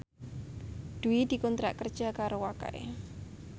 Dwi dikontrak kerja karo Wakai